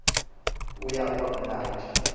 uya uba mnandi